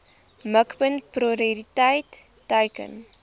mikpunt prioriteit teiken